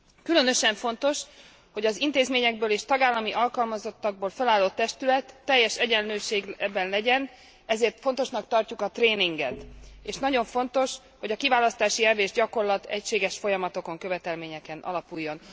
Különösen fontos, hogy az intézményekből és tagállami alkalmazottakból felállott testület ebben teljes egyenlőségű legyen, ezért fontosnak tartjuk a tréninget, és nagyon fontos, hogy a kiválasztási elv és gyakorlat egységes folyamatokon, követelményeken alapuljon.